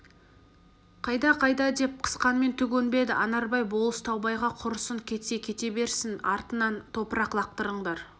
қайда қайда деп қысқанмен түк өнбеді анарбай болыс таубайға құрысын кетсе кете берсін артынан топырақ лақтырыңдар